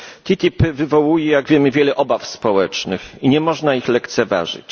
TTIP wywołuje, jak wiemy, wiele obaw społecznych i nie można ich lekceważyć.